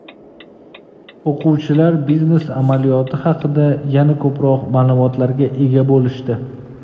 O‘quvchilar biznes amaliyoti haqida yana ko‘proq ma’lumotlarga ega bo‘lishdi.